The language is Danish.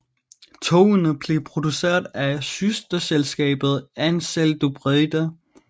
Togene blev produceret af søsterselskabet AnsaldoBreda